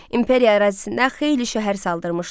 İmperiya ərazisində xeyli şəhər saldırmışdı.